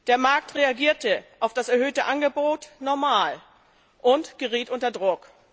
Der Markt reagierte auf das erhöhte Angebot normal und geriet unter Druck.